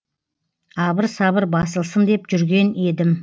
абыр сабыр басылсын деп жүрген едім